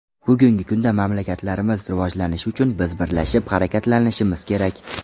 Bugungi kunda mamlakatlarimiz rivojlanishi uchun biz birlashib harakatlanishimiz kerak.